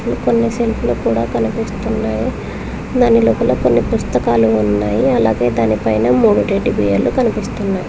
కొన్ని సెంట్లు కూడా కనిపిస్తున్నాయి దాని లొపలోపల పుస్తకాలు ఉన్నాయి అలాగే దానిపైన మూడు టెడ్డి బేర్ లు కనిపిస్తున్నాయి.